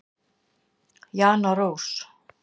Jana Rós.